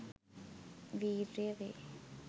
වීර්ය වේ.